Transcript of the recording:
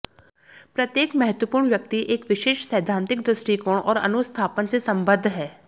प्रत्येक महत्त्वपूर्ण व्यक्ति एक विशेष सैद्धांतिक दृष्टिकोण और अनुस्थापन से सम्बद्ध है